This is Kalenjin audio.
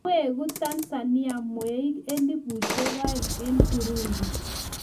weguTanzania mweeik 2000 en Burundi?